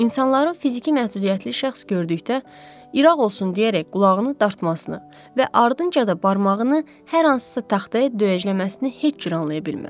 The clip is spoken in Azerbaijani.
İnsanların fiziki məhdudiyyətli şəxs gördükdə İraq olsun deyərək qulağını dartmasını və ardınca da barmağını hər hansısa taxtaya döyəcləməsini heç cür anlaya bilmirəm.